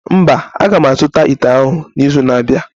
Mba, a ga m azụta ite ahụ n'izu na-abịa.